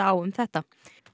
á um þetta